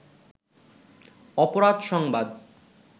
অপরাধ সংবাদ